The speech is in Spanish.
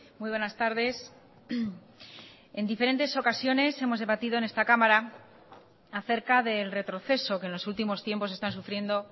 muy buenas tardes en diferentes ocasiones hemos debatido en esta cámara acerca del retroceso que en los últimos tiempos están sufriendo